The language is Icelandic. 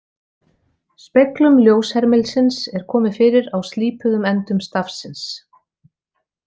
Speglum ljóshermilsins er komið fyrir á slípuðum endum stafsins.